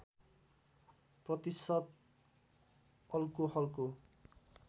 प्रतिशत अल्कोहलको